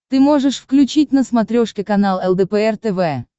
ты можешь включить на смотрешке канал лдпр тв